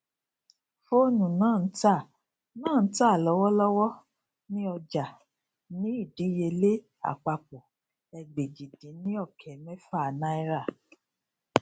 fóònù náà n tà náà n tà lọwọlọwọ ní ọjà ní ìdíyelé àpapọ ẹgbèjìdínokemefa náírà